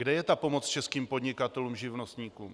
Kde je ta pomoc českým podnikatelům, živnostníkům?